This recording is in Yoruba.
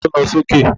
Ta ló ń lọ sókè?